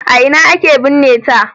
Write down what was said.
A ina aka binne ta?